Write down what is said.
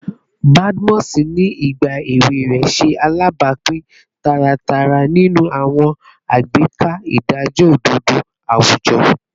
Badmus, ni igba ewe rẹ, ṣe alabapin taratara ninu awọn agbeka idajọ ododo awujọ